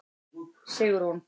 Sigrún